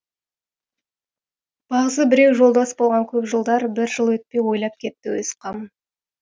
бағзы біреу жолдас болған көп жылдар бір жыл өтпей ойлап кетті өз қамын